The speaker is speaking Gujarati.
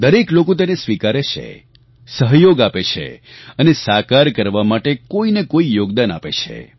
દરેક લોકો તેને સ્વીકારે છે સહયોગ આપે છે અને સાકાર કરવા માટે કોઈ ને કોઈ યોગદાન આપે છે